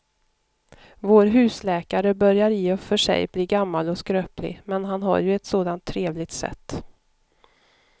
Vår husläkare börjar i och för sig bli gammal och skröplig, men han har ju ett sådant trevligt sätt!